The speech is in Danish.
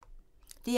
DR1